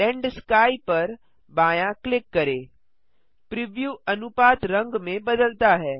blend sky पर बायाँ click करेंप्रिव्यू अनुपात रंग में बदलता है